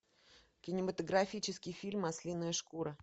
кинематографический фильм ослиная шкура